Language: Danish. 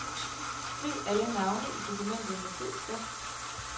Skriv alle navne i dokumentet med fed skrift.